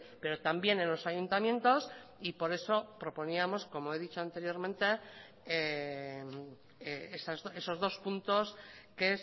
pero también en los ayuntamientos y por eso proponíamos como he dicho anteriormente esos dos puntos que